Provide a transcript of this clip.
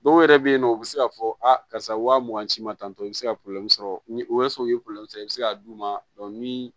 Dɔw yɛrɛ bɛ yen nɔ u bɛ se k'a fɔ a karisa wa mugan ci ma tan tɔ i bɛ se ka sɔrɔ ni o ye sɔrɔ u ye sɔrɔ i bɛ se k'a d'u ma ni